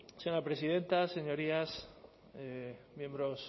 señora presidenta señorías miembros